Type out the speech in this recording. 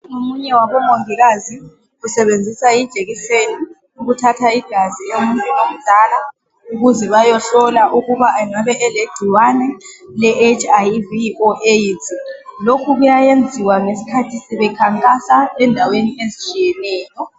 Umongikazi usebenzisa ijekiseni ukuthatha igazi lomuntu omdala ukuze bayehlola ukuba angabe elegcikwane ele hiv or aids lokhu kuyayenziwa ngesikhathi sebekhankasa endaweni ezitshiyeneyo